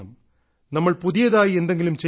നമ്മൾ പുതിയതായി എന്തെങ്കിലും ചെയ്യണം